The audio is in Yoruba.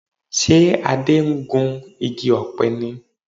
Ṣe Adé ń gun igi ọ̀pẹ ni?